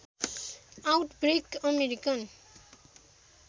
outbreak American